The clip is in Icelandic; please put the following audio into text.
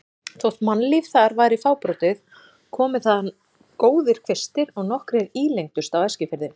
Þótt mannlíf þar væri fábrotið komu þaðan góðir kvistir og nokkrir ílengdust á Eskifirði.